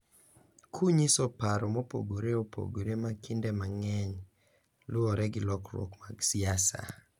Kunyiso paro mopogore opogore ma kinde mang’eny luwore gi lokruok mag siasa.